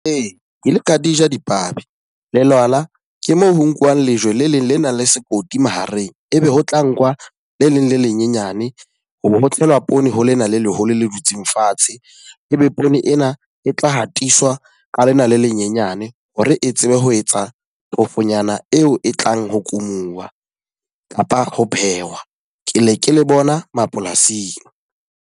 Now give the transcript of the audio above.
Ee, ke ile ka di ja dipabi. Lelwala, ke moo ho nkuwang lejwe le leng le nang le sekoti mahareng. E be ho tla nkuwa le leng le lenyenyane hoba ho tlelwa poone ho lena le leholo le dutseng fatshe. E be poone ena e tla hatiswa ka lena le lenyenyane hore e tsebe ho etsa phofonyana eo e tlang ho kumuwa kapa ho phehwa. Ke le ke le bona mapolasing.